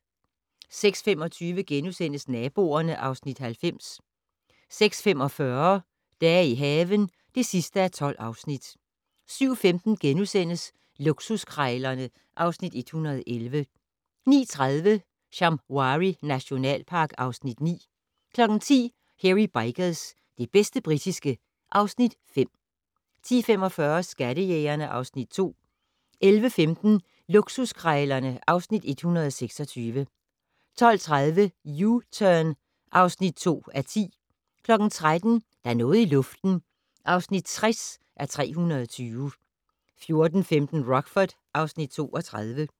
06:25: Naboerne (Afs. 90)* 06:45: Dage i haven (12:12) 07:15: Luksuskrejlerne (Afs. 111)* 09:30: Shamwari nationalpark (Afs. 9) 10:00: Hairy Bikers - det bedste britiske (Afs. 5) 10:45: Skattejægerne (Afs. 2) 11:15: Luksuskrejlerne (Afs. 126) 12:30: U-Turn (2:10) 13:00: Der er noget i luften (60:320) 14:15: Rockford (Afs. 32)